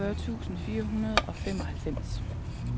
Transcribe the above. toogfyrre tusind fire hundrede og femoghalvfems